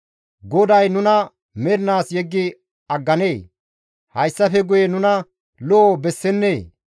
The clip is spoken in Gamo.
«Goday nuna mernaas yeggi agganee? Hayssafe guye nuna lo7o bessennee?